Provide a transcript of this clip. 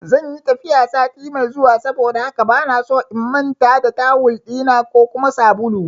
Zanyi tafiya sati mai zuwa saboda haka bana so in manta da tawul ɗina ko kuma sabulu